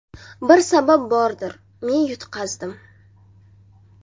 Bir sabab bordir, men yutqazdim.